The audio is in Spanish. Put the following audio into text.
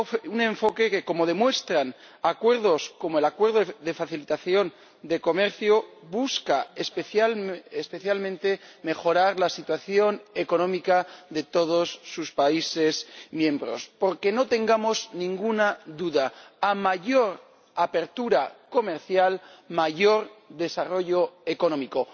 Un enfoque que, como demuestran acuerdos como el Acuerdo sobre Facilitación del Comercio, busca especialmente mejorar la situación económica de todos sus países miembros. Porque no tengamos ninguna duda a mayor apertura comercial, mayor desarrollo económico.